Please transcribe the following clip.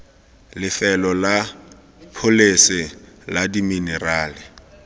lefelo la pholese la diminerala